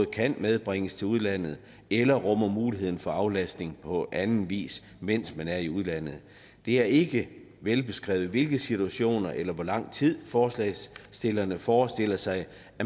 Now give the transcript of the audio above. kan medbringes til udlandet eller rummer mulighed for aflastning på anden vis mens man er i udlandet det er ikke velbeskrevet i hvilke situationer eller i hvor lang tid forslagsstillerne forestiller sig